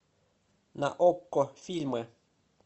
на окко фильмы